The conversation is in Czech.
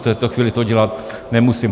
V této chvíli to dělat nemusím.